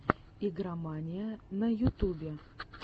игромания на ютубе